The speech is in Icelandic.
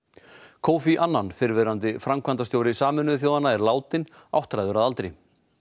kofi annan fyrrverandi framkvæmdastjóri Sameinuðu þjóðanna er látinn áttræður að aldri